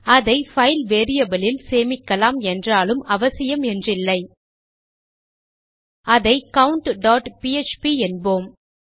அதை file variable இல் சேமிக்கலாம் என்றாலும் அவசியம் என்றில்லை அதை countபிஎச்பி என்போம்